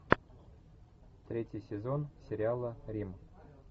третий сезон сериала рим